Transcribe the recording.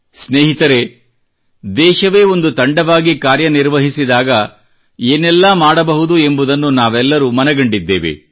ಸ್ನೇಹಿತರೇ ದೇಶವೇ ಒಂದು ತಂಡವಾಗಿ ಕಾರ್ಯನಿರ್ವಹಿಸಿದಾಗ ಏನೆಲ್ಲಾ ಮಾಡಬಹುದು ಎಂಬುದನ್ನು ನಾವೆಲ್ಲರೂ ಮನಗಂಡಿದ್ದೇವೆ